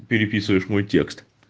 переписываешь мой текст